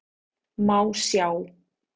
Má sjá